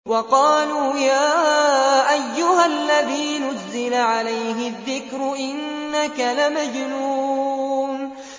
وَقَالُوا يَا أَيُّهَا الَّذِي نُزِّلَ عَلَيْهِ الذِّكْرُ إِنَّكَ لَمَجْنُونٌ